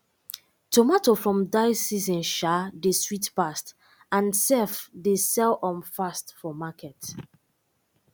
tomato from dye season um dey sweet pass and sef dey sell um fast for market